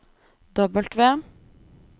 W